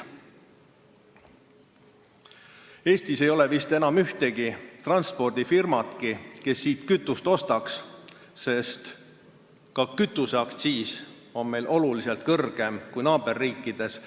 Ning Eestis ei ole vist enam ühtegi transpordifirmat, kes siit kütust ostaks, sest ka kütuseaktsiis on meil palju kõrgem kui naaberriikides.